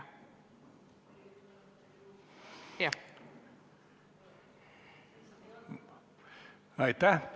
Aitäh!